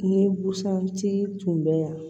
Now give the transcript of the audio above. Ni busan tigi tun bɛ yan